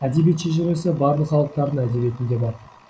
әдебиет шежіресі барлық халықтардың әдебиетінде бар